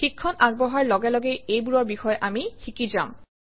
শিক্ষণ আগবঢ়াৰ লগে লগে এইবোৰৰ বিষয়ে আমি শিকি যাম